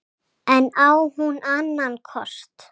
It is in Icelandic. En á hún annan kost?